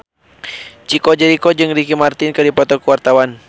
Chico Jericho jeung Ricky Martin keur dipoto ku wartawan